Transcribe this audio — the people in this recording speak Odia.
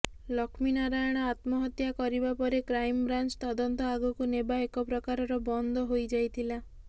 ଲକ୍ଷ୍ମୀନାରାୟଣ ଆତ୍ମହତ୍ୟା କରିବା ପରେ କ୍ରାଇମ୍ ବ୍ରାଞ୍ଚ ତଦନ୍ତ ଆଗକୁ ନେବା ଏକ ପ୍ରକାରର ବନ୍ଦ ହୋଇ ଯାଇଥିଲା